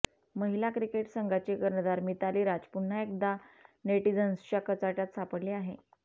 महिला क्रिकेट संघांची कर्णधार मिताली राज पुन्हा एकदा नेटीझन्सच्या कचाट्यात सापडली आहे